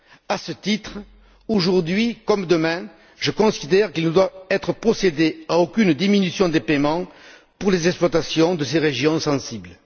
À ce titre, aujourd'hui comme demain, je considère qu'il ne doit être procédé à aucune diminution des paiements pour les exploitations de ces régions sensibles.